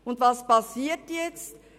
Und was geschieht nun?